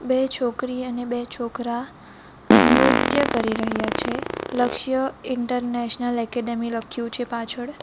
બે છોકરી અને બે છોકરા નૃત્ય કરી રહ્યા છે લક્ષ્ય ઇન્ટરનેશનલ એકેડેમી લખ્યું છે પાછળ.